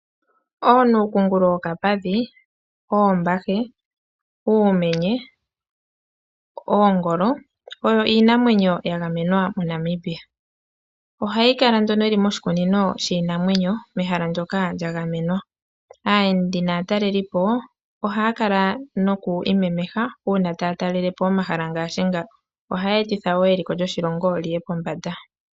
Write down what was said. OoNuukungulu wokapadhi, oombahe, oomenye, noongolo oyo iinamwenyo yagamenwa moNamibia. Ohayi kala nduno yili moshikunino shiinamwenyo mehala ndyoka lyagamenwa. Aayendi naatalelipo ohaya kala noku imemeha uuna taya talele po omahala ngaashi nga. Ohaya etitha wo eliko lyoshilongo lyiye pombanda.